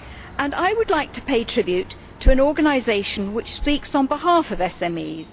And I would like to pay tribute to an organisation which speaks on behalf of SMEs.